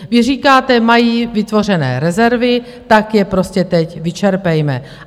Vy říkáte, mají vytvořené rezervy, tak je prostě teď vyčerpejme.